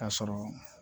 K'a sɔrɔ